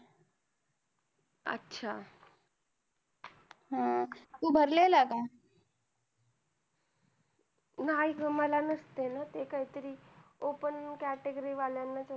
नाही गं ते मला नसतय ना ते काय तरी open category वाल्यानाच असत.